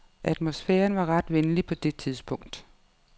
Atmosfæren var ret venlig på det tidspunkt.